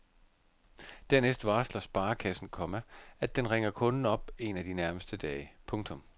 Dernæst varsler sparekassen, komma at den ringer kunden op en af de nærmeste dage. punktum